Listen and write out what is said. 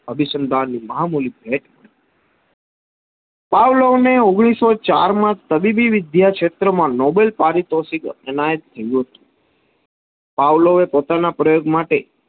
અભિસંધાન ની મહામુનિત ભેટ. પાવલો ને ઓગણીસો ચાર માં તબીબી વિધ્યા ક્ષેત્ર માં નોબેલ પારિતોષિક એનાયત થયું હતું પાવલો એ પોતાના પ્રયોગ માટે,